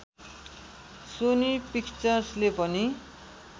Sony पिक्चर्सले पनि